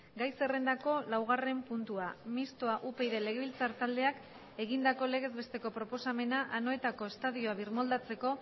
gai zerrendako laugarren puntua mistoa upyd legebiltzar taldeak egindako legez besteko proposamena anoetako estadioa birmoldatzeko